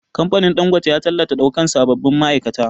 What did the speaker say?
Kamfanin Ɗangote ya tallata ɗaukan sabbin ma'aikata